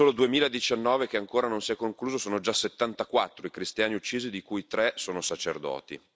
Nel solo 2019 che ancora non si è concluso, sono già 74 i cristiani uccisi, di cui 3 sono sacerdoti.